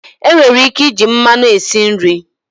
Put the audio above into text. Enwere ike iji mmanụ esi nri.